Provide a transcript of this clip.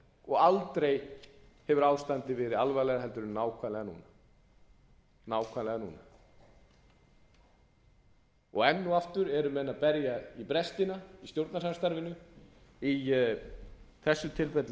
og aldrei hefur ástandið verið alvarlegra heldur en nákvæmlega núna enn og aftur eru menn að berja í brestina í stjórnarsamstarfinu í þessu tilfelli